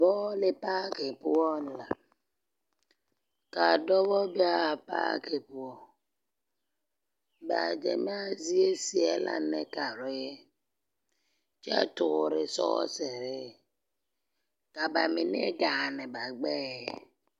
Bͻͻle paaki poͻŋ la. Kaa dͻbͻ be a paaki poͻ. Ba gyamaa zie seԑ la nekare, kyԑ toore sͻͻsere. Ka ba mine gaane ba gbԑԑ.